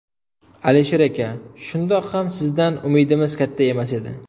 Alisher aka, shundoq ham sizdan umidimiz katta emas edi.